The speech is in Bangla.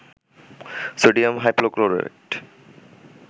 sodium hypochlorite